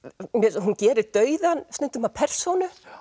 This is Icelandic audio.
hún gerir dauðann stundum að persónu